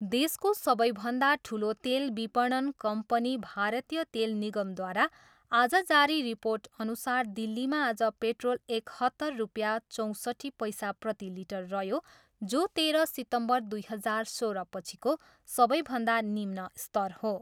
देशको सबैभन्दा ठुलो तेल विपणन कम्पनी भारतीय तेल निगमद्वारा आज जारी रिर्पोटअनुसार दिल्लीमा आज पेट्रोल एकहत्तर रुपियाँ चौँसट्ठी पैसा प्रति लिटर रह्यो जो तेह्र सितम्बर दुई हजार सोह्रपछिको सबैभन्दा निम्न स्तर हो।